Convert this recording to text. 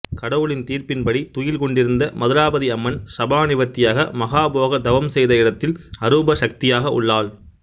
கடவுளின் தீர்ப்பின்படி துயில் கொண்டிருந்த மதுராபதி அம்மன் சாபநிவர்த்தியாக மகா போகர் தவம் செய்த இடத்தில் அரூப சக்தியாக உள்ளாள்